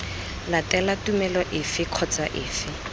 latela tumelo efe kgotsa efe